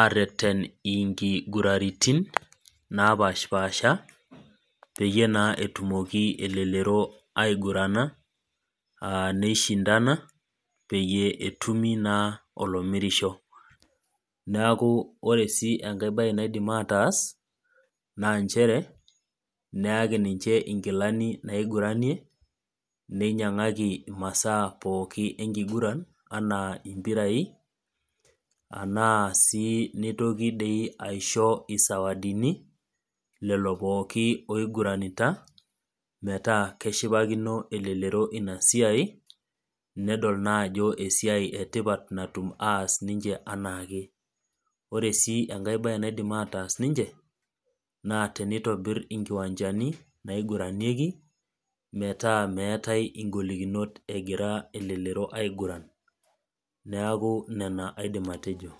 areten inkiguraitin, napaashipasha, peyie etumoki naa elelero aigurana, neshindana, peyie etumi naa olomirisho. Neaku ore sii enai baye naidim ataas, naa nchere, neaki ninche inkilani naiguranie, neinyang'aki imaaa pookin enkiguran, anaa impirai, anaa sii dei neitoki aisho, isawadini, lelo pookin oiguranita, metaa keshipakino elelero ina siai netum naa ana esiai etipat natum aas ninche anaake. Ore sii enkai baye naidim ataas ninche, naa teneitobir inkwanchani naiguranieki, metaa meatai ing'olikinot elelero egira aiguran. Neaku nena aidim atejo.